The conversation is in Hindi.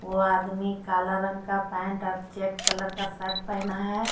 वो आदमी काल ला रंग का पेंट और चेक कलर का शर्ट पहेना है।